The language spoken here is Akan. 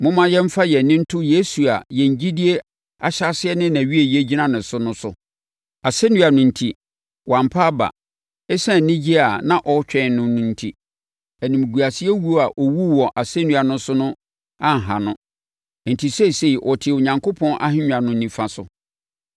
Momma yɛmfa yɛn ani nto Yesu a yɛn gyidie ahyɛaseɛ ne nʼawieeɛ gyina ne so no so. Asɛnnua no enti, wampa aba. Esiane anigyeɛ a na ɛretwɛn no no enti, animguasewuo a ɔwuu wɔ asɛnnua so no anha no. Enti, seesei ɔte Onyankopɔn ahennwa no nifa so.